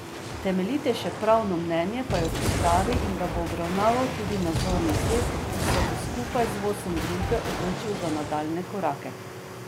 Temeljitejše pravno mnenje pa je v pripravi in ga bo obravnaval tudi nadzorni svet, ki se bo skupaj z vodstvom družbe odločil za nadaljnje korake.